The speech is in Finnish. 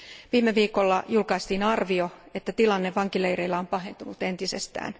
Viime viikolla julkaistiin arvio, että tilanne vankileireillä on pahentunut entisestään.